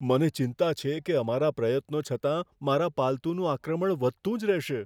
મને ચિંતા છે કે અમારા પ્રયત્નો છતાં, મારા પાલતુનું આક્રમણ વધતું જ રહેશે.